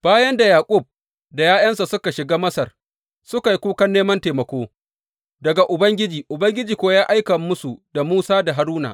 Bayan da Yaƙub da ’ya’yansa suka shiga Masar suka yi kukan neman taimako daga Ubangiji, Ubangiji kuwa ya aika musu da Musa da Haruna.